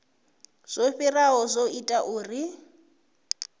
zwo fhiraho zwo ita uri